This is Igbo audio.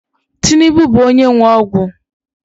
Tinubu bụ onye nwe ọgwụ